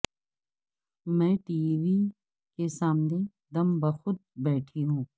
میں TV کے سامنے دم بخود بیٹھی ہوں